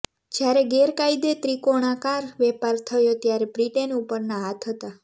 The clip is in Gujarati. જ્યારે ગેરકાયદે ત્રિકોણાકાર વેપાર થયો ત્યારે બ્રિટેન ઉપરના હાથ હતા